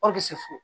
fo